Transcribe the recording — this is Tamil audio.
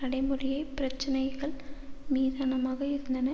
நடைமுறையைப் பிரச்சினைகள் மீதானமாக இருந்தன